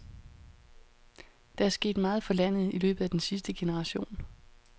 Der er sket meget for landet i løbet af den sidste generation.